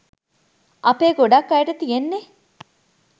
අපේ ගොඩක් අයට තියෙන්නේ